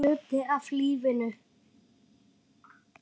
Þetta er hluti af lífinu.